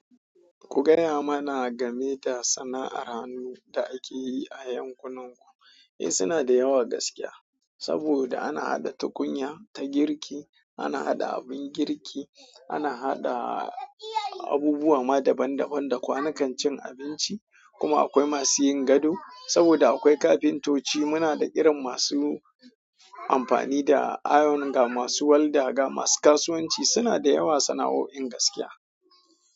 Ku gaya mana game da sana'ar hannu da ake yi a yankunan ku. Eh, suna da yawa gaskiya. Saboda ana haɗa tukunya ta girki, ana haɗa abin girki, ana haɗa abubuwa ma daban daban da kwanukan cin abinci, kuma akwai masu yin gado. Saboda akwai kafintoci, muna da irin masu amfani da iron ga masu walda, ga masu kasuwanci suna da yawa sana'o'in gaskiya.